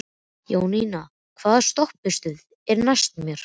Jóninna, hvaða stoppistöð er næst mér?